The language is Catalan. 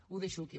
ho deixo aquí